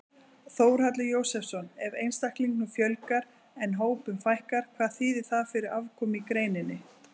Þórhallur Jósefsson: Ef einstaklingum fjölgar en hópum fækkar, hvað þýðir það fyrir afkomu í greininni?